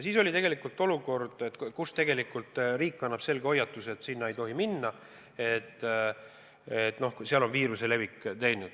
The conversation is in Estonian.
Valitses olukord, kus riik andis selge hoiatuse, et sinna ei tohi minna, et seal on viiruse levik.